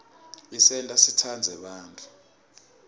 isenta sitsandze bantfu